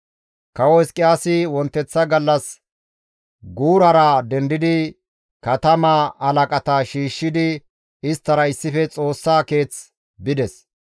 Kawo Hizqiyaasi wonteththa gallas guurara dendidi katamaa halaqata shiishshidi isttara issife Xoossaa keeth bides.